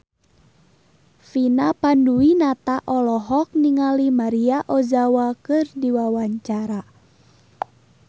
Vina Panduwinata olohok ningali Maria Ozawa keur diwawancara